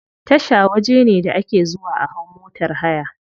Tasha waje ne da ake zuwa a hau motar haya.